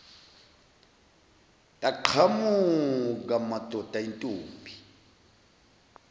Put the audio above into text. yaqhamuka madoda intombi